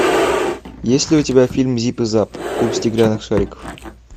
есть ли у тебя фильм зип и зап клуб стеклянных шариков